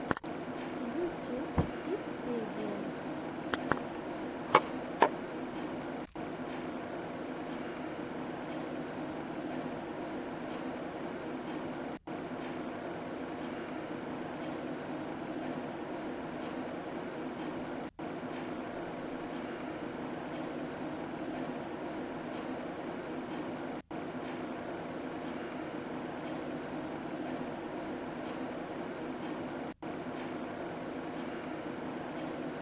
ютюб итпедия